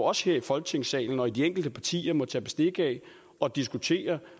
også her i folketingssalen og i de enkelte partier må tage bestik af og diskutere